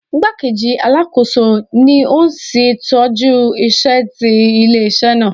Igbakeji Alakoso ni o n ṣetọju iṣẹ ti ile-iṣẹ naa.